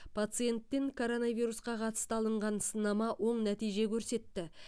пациенттен коронавирусқа қатысты алынған сынама оң нәтиже көрсетті